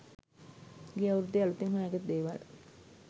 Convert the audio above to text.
ගිය අවුරුද්දේ අලුතෙන් හොයාගත්ත දේවල්.